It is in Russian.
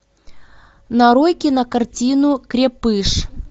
нарой кинокартину крепыш